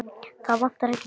Það vantar ekki pláss.